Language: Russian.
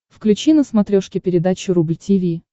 включи на смотрешке передачу рубль ти ви